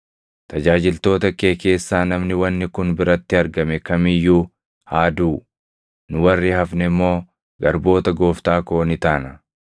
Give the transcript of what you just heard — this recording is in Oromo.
Tajaajiltoota kee keessaa namni wanni kun biratti argame kam iyyuu haa duʼu; nu warri hafne immoo garboota gooftaa koo ni taana.”